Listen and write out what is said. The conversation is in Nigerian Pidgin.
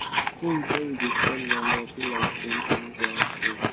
to sing when you da spread manure be like say u da use ur hand pray